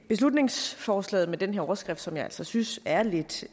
beslutningsforslaget med den overskrift som jeg altså synes er lidt